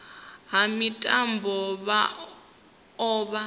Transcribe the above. ha mitambo vha o vha